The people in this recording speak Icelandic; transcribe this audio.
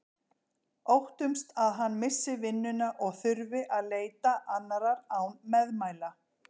Óttumst að hann missi vinnuna og þurfi að leita annarrar án meðmæla.